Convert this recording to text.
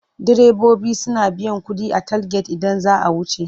Direbobi suna biyan kuɗi a talget idan za a wuce.